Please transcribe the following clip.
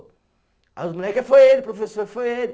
Aí os moleque, foi ele, professor, foi ele.